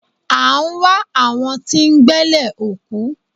A ń wá àwọn tí ń gbẹ́lẹ̀ òkú.